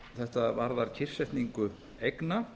þetta varðar kyrrsetningu eigna